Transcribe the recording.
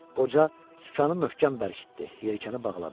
Qoca sükanı möhkəm bərkitdi, yelkəni bağladı.